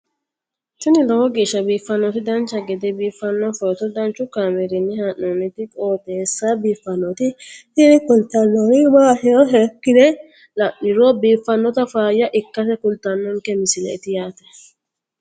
tini lowo geeshsha biiffannoti dancha gede biiffanno footo danchu kaameerinni haa'noonniti qooxeessa biiffannoti tini kultannori maatiro seekkine la'niro biiffannota faayya ikkase kultannoke misileeti yaate